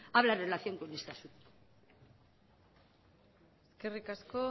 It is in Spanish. hablan en relación con este asunto eskerrik asko